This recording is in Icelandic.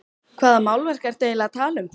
Hvaða málverk ertu eiginlega að tala um?